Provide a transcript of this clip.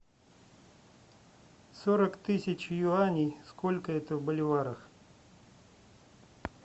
сорок тысяч юаней сколько это в боливарах